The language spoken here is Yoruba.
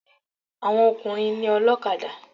Àwọn ọkùnrin ni ọlọ́kadà.